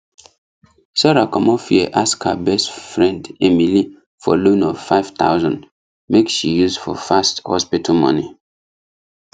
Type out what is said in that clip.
sarah commot fear ask her best friend emily for loan of 5000 make she use for fast hospital money